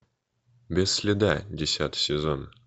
без следа десятый сезон